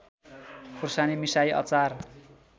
खुर्सानी मिसाई अचार